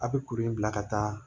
A bɛ kuru in bila ka taa